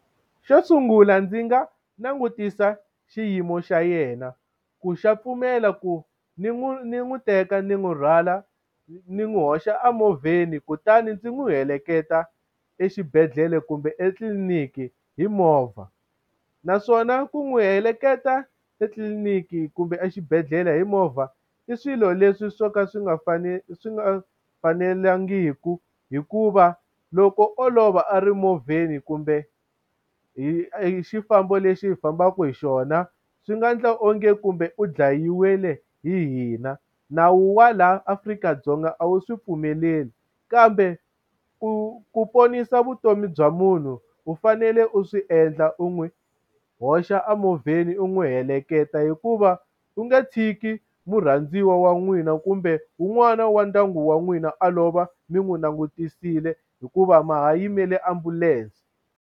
Xo sungula ndzi nga langutisa xiyimo xa yena ku xa pfumela ku ni n'wi ni n'wi teka ndzi n'wi rhwala ni n'wi hoxa emovheni kutani ndzi n'wi heleketa exibedhlele kumbe etliniki hi movha. Naswona ku n'wi heleketa etliliniki kumbe exibedhlele hi movha i swilo leswi swo ka swi nga swi nga fanelangiku hikuva loko olova a ri movheni kumbe hi hi xifambo lexi fambaka hi xona, swi nga endla onge kumbe u dlayiwile hi hina. Nawu wa laha Afrika-Dzonga a wu swi pfumeleli. Kambe ku ku ponisa vutomi bya munhu u fanele u swi endla, u n'wi hoxa a movheni u n'wi heleketa. Hikuva u nge tshiki murhandziwa wa n'wina kumbe wun'wana wa ndyangu wa n'wina a lova mi n'wi langutisile hikuva ma ha yimele ambulense.